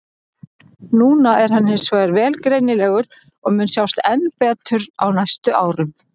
Núna er hann hins vegar vel greinilegur og mun sjást enn betur á næstu árum.